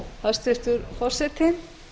hæstvirtur forseti